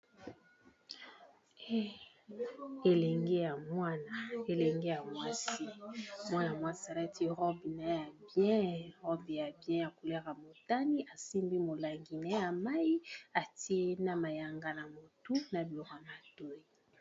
Elenge ya mwana elenge mwasi mwana mwasi alati robe naye ya bien robe ya bien ya couleur ya motane asimbi molangi naye ya mayi atie na mayanga na motu na biloko ya matoyi.